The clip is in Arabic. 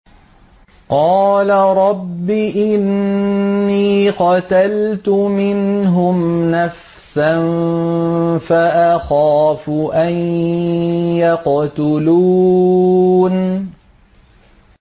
قَالَ رَبِّ إِنِّي قَتَلْتُ مِنْهُمْ نَفْسًا فَأَخَافُ أَن يَقْتُلُونِ